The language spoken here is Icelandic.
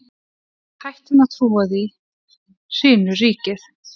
Þegar við hættum að trúa því, hrynur ríkið!